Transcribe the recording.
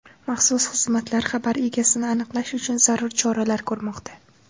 Maxsus xizmatlar xabar egasini aniqlash uchun zarur choralar ko‘rmoqda.